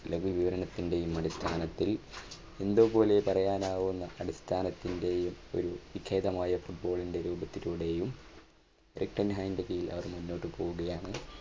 ലഘു വിവരണത്തിന്റെ അടിസ്ഥാനത്തിൽ എന്തോ പോലെ പറയാനാവുന്ന അടിസ്ഥാനത്തിന്റെയും ഒരു വിഖ്യാതമായ football ന്റെ രൂപത്തിലൂടെയും അവർ മുന്നോട്ടു പോവുകയാണ്.